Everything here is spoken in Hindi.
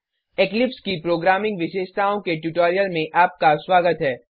इक्लिप्स की प्रोग्रामिंग विशेषताओं के ट्यूटोरियल में आपका स्वागत है